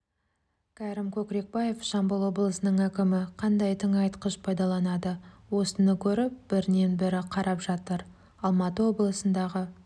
кәрім көкірекбаев жамбыл облысының әкімі қандай тыңайтқыш пайдаланады осыны көріп бірінен бірі қарап жатыр алматы облысындағы